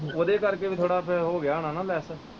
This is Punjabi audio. ਉਹਦੇ ਕਰ ਕੇ ਵੀ ਥੋੜ੍ਹਾ ਫਿਰ ਹੋਗਿਆ ਹੋਣਾ ਨਾ ਲੈੱਸ।